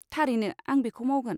थारैनो आं बेखौ मावगोन।